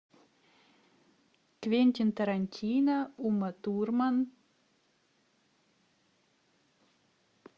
квентин тарантино ума турман